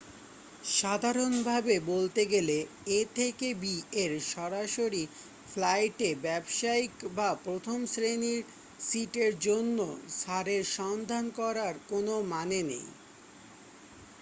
সাধারণভাবে বলতে গেলে a থেকে b এর সরাসরি ফ্লাইটে ব্যবসায়ীক বা প্রথম শ্রেণির সিটের জন্য ছাড়ের সন্ধান করার কোন মানে নেই